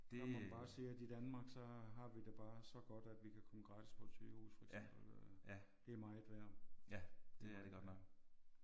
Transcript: Der må man bare sige at i Danmark så har vi det bare så godt at vi kan komme gratis på et sygehus for eksempel. Det er meget værd